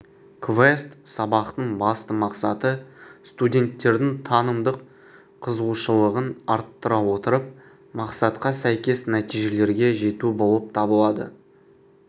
квест сабақтың басты мақсаты студенттердің танымдық қызығушылығын арттыра отырып мақсатқа сәйкес нәтижелерге жету болып табылады